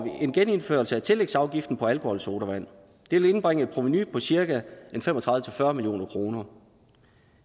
en genindførelse af tillægsafgiften på alkoholsodavand det vil indbringe et provenu på cirka fem og tredive til fyrre million kroner